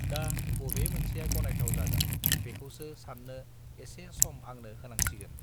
दा बबे मोनसेआ गनायथाव जागोन बेखौसो सान्नो एसे सम आंनो होनांसिगोन